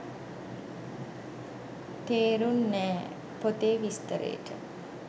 තෙරුන්නෑ! පොතේ විස්තරේට